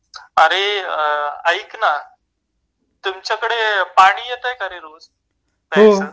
अरे ऐक ना तुमच्याकडे पाणी येतंय का रे रोज प्यायच